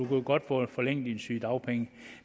kan godt få forlænget dine sygedagpenge